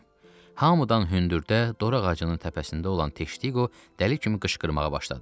Hamıdan hündürdə, dora ağacının təpəsində olan Teştiqo dəli kimi qışqırmağa başladı.